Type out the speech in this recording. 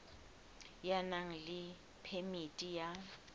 ya nang le phemiti ya